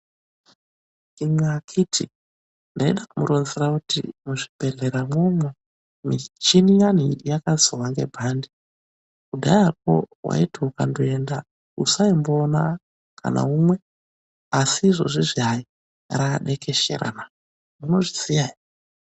Imwi akiti ndaida kumuronzera kuti muzvibhedhlera imwomwo michina iya yakazouya yakawanda kudhayako waiti ukaenda usaiona kana umwe asi izvezvi yadekeshera na munozviziva ere.